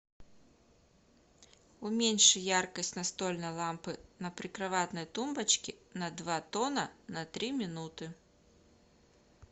уменьши яркость настольной лампы на прикроватной тумбочке на два тона на три минуты